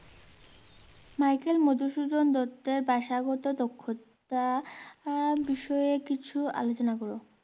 Michael Madhusudan দত্তের ভাষাগত দক্ষতা বিষয়ে কিছু আলোচনা করো।